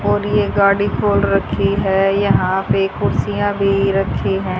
और ये गाड़ी खोल रखी है यहां पे कुर्सियां भी रखी है।